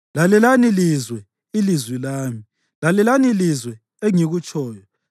Lalelani lizwe ilizwi lami; lalelani lizwe engikutshoyo.